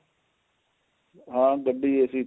ਹਾਂ ਗੱਡੀ AC ਤੇ